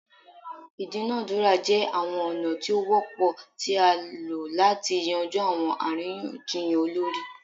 Idunadura jẹ awọn ọna ti o wọpọ ti a lo lati yanju awọn ariyanjiyan olori